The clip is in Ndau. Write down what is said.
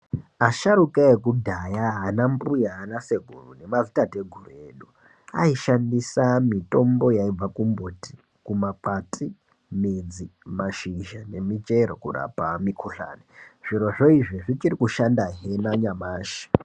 Asharuka ekudhaya anambuya, anasekuru nemadzitateguru edu aishandisa mitombo yaibva kumbiti, kumakwati, midzi mashizha nemichero kurapa mikhuhlani zvirozvo izvi zvichikushanda hee nanyamashi.